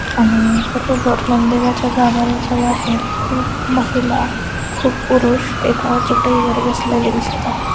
आणि बरोबर मंदिराच्या गाभार्‍याजवळ आहे खुप महिला खुप पुरुष एका चटई वर बसलेले दिसत आहेत.